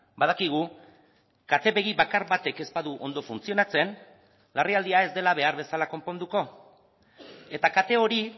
badakigu kate begi bakar batek ez badu ondo funtzionatzen larrialdia ez dela behar bezala konponduko eta kate hori